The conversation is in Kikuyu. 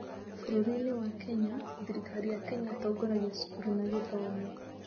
Bũrũri-inĩ wa Kenya, thirikari ya Kenya ĩtongoragia cukuru na gĩthomo.